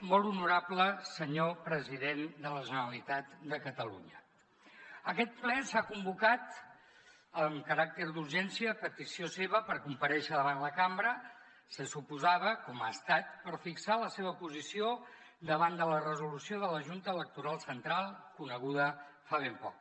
molt honorable senyor president de la generalitat de catalunya aquest ple s’ha convocat amb caràcter d’urgència a petició seva per comparèixer davant la cambra se suposava com ha estat per fixar la seva posició davant de la resolució de la junta electoral central coneguda fa ben poc